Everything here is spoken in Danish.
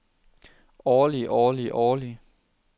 årlig årlig årlig